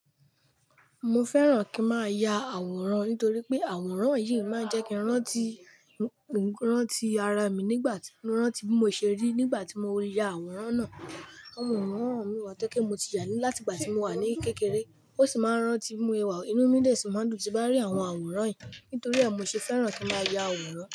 Mo fẹ́ràn kí n máa ya àwòrán nítorí pé àwòrán yìí máa ń jẹ́ kí ń rántí, mo ń rántí ara mi nígbà tí mo ń rántí bí mo ṣe rí nígbà tí mo ya àwòrán náà. Àwòrán mi wà tẹ́kẹ̀ẹ́ mo ti já ní láti ìgbà tí mo wà ní kékeré. Ó sì máa ń rántí bi ẹwà inú mi dè sí máa n dùn tí bá ń rí àwọn àwòrán yìí nítorí ẹ́, mo se fẹ́ràn kí n máa ya àwòrán.